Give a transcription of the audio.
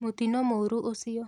Mũtino mũru ucio.